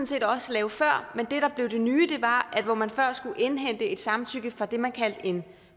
set også lave før men det der blev det nye var at hvor man før skulle indhente et samtykke fra det man kaldte en